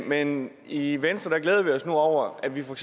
men i venstre glæder vi os over at vi for